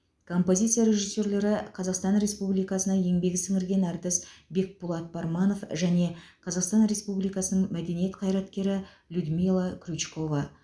композиция режиссерлері қазақстан республикасы еңбек сіңірген әртісі бекпулат парманов және қазақстан республикасы мәдениет қайраткері людмила крючкова